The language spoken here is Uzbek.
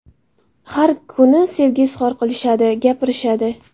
Har kuni sevgi izhor qilishadi, gapirishadi.